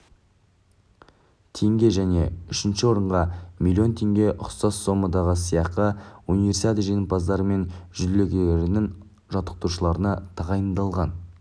теңге және үшінші орынға миллион теңге ұқсас сомадағы сыйақы универсиада жеңімпаздары мен жүлдегерлерінің жаттықтырушыларына тағайындалған